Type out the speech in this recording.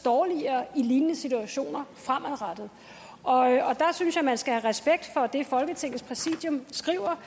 dårligere i lignende situationer fremover og jeg synes man skal have respekt for det folketingets præsidium skriver